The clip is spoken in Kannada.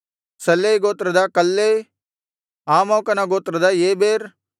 ಸಲ್ಲೈ ಗೋತ್ರದ ಕಲ್ಲೈ ಆಮೋಕನ ಗೋತ್ರದ ಏಬೆರ್